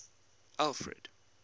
alfred